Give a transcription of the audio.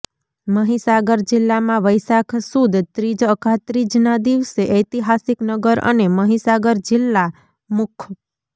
મહીસાગર જિલ્લામાં વૈશાખ સુદ ત્રીજ અખાત્રીજના દિવસે ઐતિહાસિક નગર અને મહીસાગર જિલ્લા મુખ્